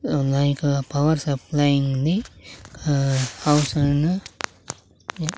Nike power supply ఉంది ఆ house ను